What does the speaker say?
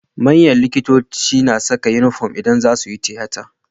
Manyan likitoci na Saka inufom idan zasuyi tiyata